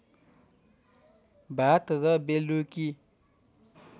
भात र बेलुकी